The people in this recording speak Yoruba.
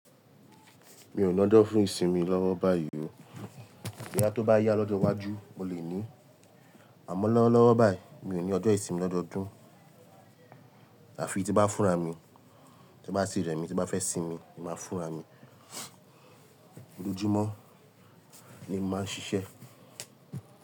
Mi ò lojọ̀ fún ìsinmi lọ́wọ́ báyìí o. Boyá tó bá yá lọ́jọ́ iwájú, mo lè ní. Àmọ́ lọ́wọ́lọ́wọ́ báyìí, mi ò ní ọjọ́ ìsinmi lọ́dọọdún. Àfi tí bá fúnra mi, to bá tì rẹ̀ mi tí bá fẹ́ sinmi, mo máa fúnra mi. Olojúmọ́ ni mo máa ń ṣiṣẹ́.